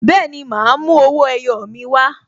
Bẹẹni, ma a mú owó ẹyọ mi wa